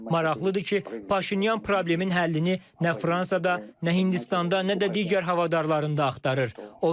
Maraqlıdır ki, Paşinyan problemin həllini nə Fransada, nə Hindistanda, nə də digər havadarlarında axtarır.